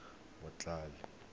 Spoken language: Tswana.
motlhale